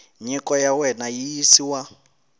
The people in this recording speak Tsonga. nyiko ya wena yi yisiwa